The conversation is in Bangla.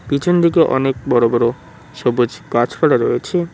পিছন দিকে অনেক বড়ো বড়ো সবুজ গাছপালা রয়েছে।